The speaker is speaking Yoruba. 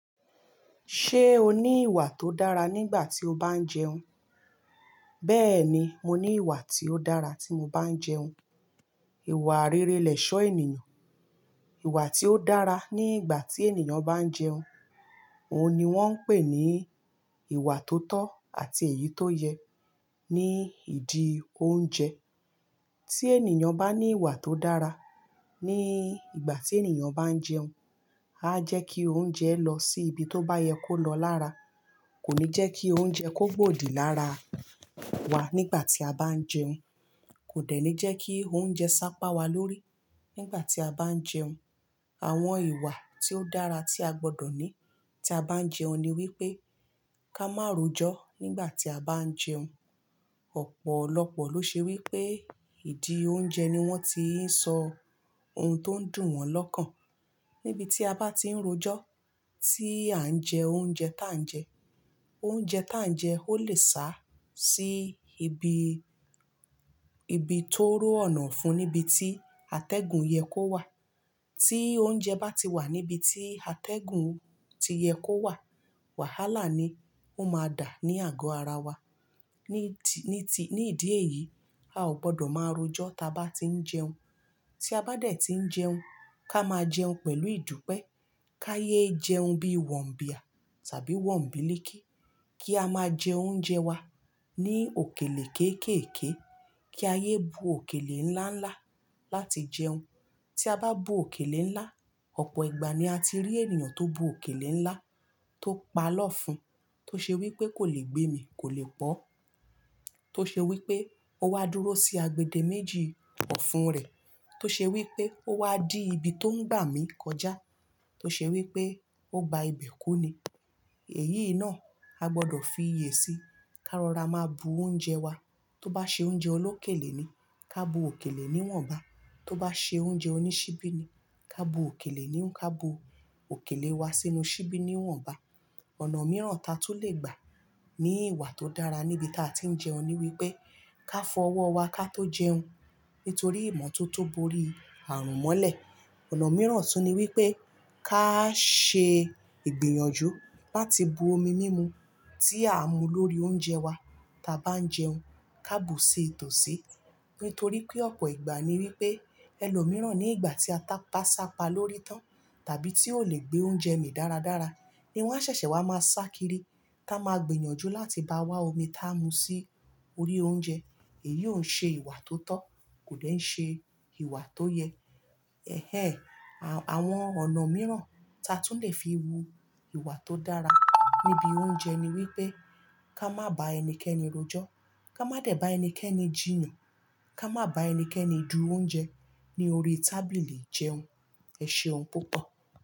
Ṣé o ní ìwà tó dára nígbà tí o bá ń jẹun? Bẹ́ẹ̀ ni, mo ní ìwà tí ó dára tí mo bá ń jẹun. Ìwà rere lẹ̀ṣọ́ ènìyàn. Ìwà tí ó dára ní ìgbà tí ènìyàn bá ń jẹun, òun ni wọ́n ń pè ní ìwà tó tọ́ àti èyí tó yẹ ní ìdí oúnjẹ. Tí ènìyàn bá ní ìwà tó dára ní ìgbà tí ènìyàn bá ń jẹun, á jẹ́ kí oúnjẹ lọ sí ibi tó bá yẹ kó lọ lára. Kò ní jẹ́ kí oúnjẹ kó gbòdì lára wa nígbà tí a bá ń jẹun. Kò dẹ̀ ní jẹ́ kí oúnjẹ sápa wa lórí nígbà tí a bá ń jẹun. Àwọn ìwà tí ó dára tí a gbọdọ̀ ní tí a bá ń jẹun ni wípé ká má ro ejó nígbà tí a bá ń jẹun. Ọ̀pọ̀lọpọ̀ ló ṣe wípé ìdí oúnjẹ ni wọ́n ti ń sọ ohun tó dùn wọn lọ́kàn. Níbi tí a bá ti ń ro ejó tí à ń jẹ oúnjẹ tá ń jẹ, oúnjẹ tá ń jẹ ó lè sá sí ibi, ibi tó ró ọ̀nà fún níbi tí atẹ́gùn yẹ kó wà. Tí oúnjẹ bá ti wà níbi tí atẹ́gùn ti yẹ kó wà, wàhálà ni ó máa dà ní àgọ́ ara wa. Ni ti, ní ti, ní ìdí èyí, a ò gbọdọ̀ máa ro ejó tí a bá ti ń jẹun. Tí a bá dẹ̀ tí ń jẹun, ká máa jẹun pẹ̀lú ìdúpẹ́. Ká yé jẹun bí wọ̀ ń bíà tàbí wọ̀ ń bí lékí. Kí a máa jẹ oúnjẹ wa ní òkèlè kéékèèké. Kí a yé bu òkèlè ńlá ńlá láti jẹun. Tí a bá bu òkèlè ńlá, ọ̀pọ̀ ìgbà ni a ti rí ènìyàn tó bu òkèlè ńlá tó pa lọ́fun, tó ṣe wípé kò lè gbé mi, kò lè pọ́. Tó ṣe wípé ó wá dúró sí agbede méjì ọ̀fun rẹ̀. Tó ṣe wípé ó wá dí ibi tó ń gbà mí kọjá. Tó ṣe wípé ó gba ibẹ̀ kú ni. Èyí náà a gbọdọ̀ fi iyè sí. Ká rọra máa bu oúnjẹ wa. Tó bá ṣe oúnjẹ olókèlè ni, ká bu òkèlè ní wọ̀nba. Tó bá ṣe oúnjẹ oní ṣíbí ni, ká bu òkèlè ní, ká bu òkèlè wa sínú ṣíbí ní wọ̀nba. Ọ̀nà mìíràn ta tún lè gbà ní ìwà tó dára níbi táa ti ń jẹun ni wípé ká fọ ọwọ́ wa ká tó jẹun nítorí ìmọ̀ tó tó bóri àrùn mọ́lẹ̀. Ọ̀nà mìíràn tún ni wípé ká ṣe ìgbìyànjú láti bu omi mímu tí à ń mu lórí oúnjẹ wa ta bá ń jẹun. Ká bu sí ìtòsí. Nítorí pé ọ̀pọ̀ ìgbà ni wípé ẹlòmíràn nígbà tí ata bá sápa lórí tán tàbí tí ò lè gbé oúnjẹ mì dára dára ni wọ́n ṣẹ̀ṣẹ̀ wá máa sá kiri. Táa máa gbìyànjú láti bá wá omi tá ń mu sí orí oúnjẹ. Èyí ò ṣe ìwà tó tọ́, kò dẹ̀ ṣe ìwà tó yẹ. Ẹhẹ́n, àwọn ọ̀nà mìíràn ta tún lè fi wu ìwà tó dára níbi oúnjẹ ni wípé ká má báa ẹnikẹ́ni rojó. Ká má dẹ̀ bá ẹnikẹ́ni jìnnà. Ká má bá ẹnikẹ́ni du oúnjẹ ní orí tábìlì jẹun. Ẹ ṣe ohun púpọ̀.